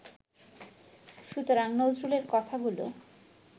সুতরাং নজরুলের কথাগুলো